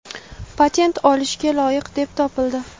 patent olishga loyiq deb topildi!.